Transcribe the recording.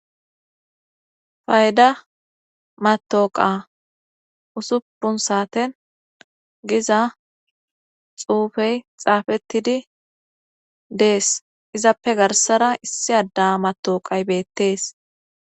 Fayda matooqa usuppun saaten giza xuufey xaafettidi dees izappe garsara issi adda matooqay beettees.